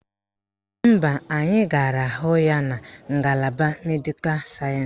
Mba, anyị gara hụ ya na ngalaba Medịkal sayensị